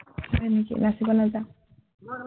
হয় নেকি, নাচিব নাজাৱ?